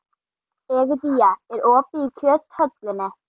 Egedía, er opið í Kjöthöllinni?